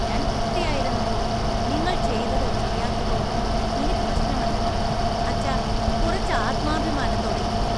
ഞാൻ കുട്ടിയായിരുന്നപ്പോൾ നിങ്ങൾ ചെയ്തതോ ചെയ്യാത്തതോ ഒന്നും ഇനി പ്രശ്നമല്ല, അച്ഛാ. കുറച്ച് ആത്മാഭിമാനത്തോടെ ഇരിക്കൂ !